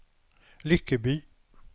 Lyckeby